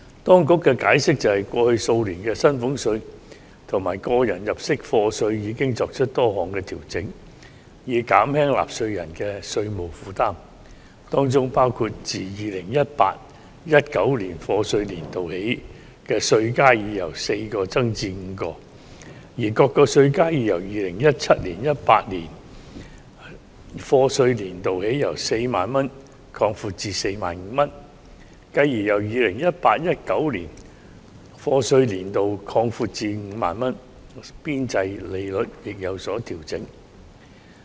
當局解釋，過去數年薪俸稅及個人入息課稅已作出多項調整，以減輕納稅人的稅務負擔，包括自 2018-2019 課稅年度起稅階已由4個增至5個，而各個稅階已由 2017-2018 課稅年度起由 40,000 元擴闊至 45,000 元，繼而由 2018-2019 課稅年度起擴闊至 50,000 元，邊際稅率亦有所調整。